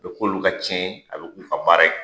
A be k'olu ka cɛn ye a be k'u ka baara ye